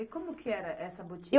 E como que era essa boutique?